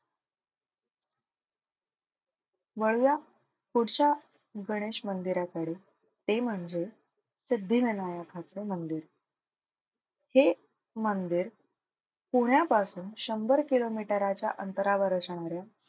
वळूया पुढच्या गणेश मंदिराकडे ते म्हणजे सिद्धिविनायकाचे मंदिर. हे मंदिर पुण्यापासून शंभर किलोमीटराच्या अंतरावर असणाऱ्या,